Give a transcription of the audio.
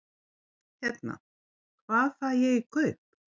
Hérna. hvað fæ ég í kaup?